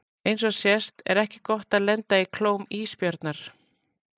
Eins og sést er ekki gott að lenda í klóm ísbjarnar.